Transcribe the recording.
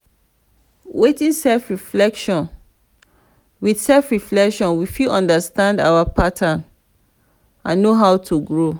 with self reflection we fit understand our pattern and know how to grow